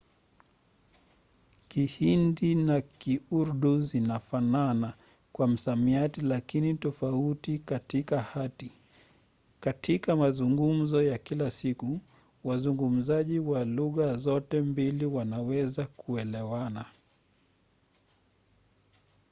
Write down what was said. kihindi na kiurdu zinafanana kwa msamiati lakini tofauti katika hati; katika mazungumzo ya kila siku wazungumzaji wa lugha zote mbili wanaweza kuelewana